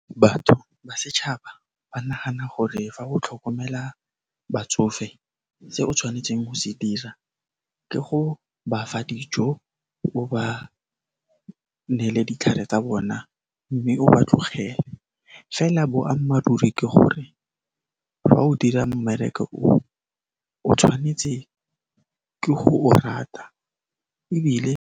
Batho ba setšhaba ba nagana gore fa go tlhokomela batsofe, se o tshwanetseng go se dira ke go ba fa dijo, o ba neele ditlhare tsa bona, mme o ba tlogele. Fela boammaaruri ke gore fa o dira mmereko o, o tshwanetse ke go o rata ebile.